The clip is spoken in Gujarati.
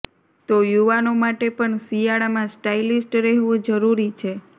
તો યુવાનો માટે પણ શિયાળામાં સ્ટાઇલિસ્ટ રહેવું જરૂરી છે